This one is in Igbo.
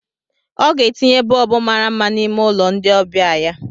ọ ga-etinye bọlbụ mara mma n'ime ụlọ ndị ọbịa ya